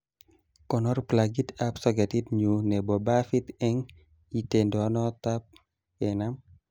konor plagit ab soketit nyu nebo bafit eng itondotab kenam